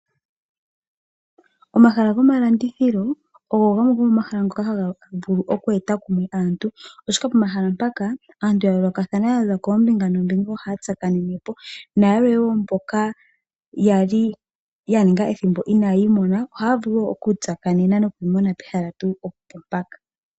Omahala gomalandithilo ogo gamwe gomomahala ngoka haga vulu okweeta kumwe aantu, oshoka pomahala mpaka, aantu ya yoolokathana ya za koombinga noombinga ohaya tsakanene po, nayalwe wo mboka ya li ya ninga ethimbo inaaya imona ohaya vulu okutsakanena nokwiimona pehala tuu mpaka.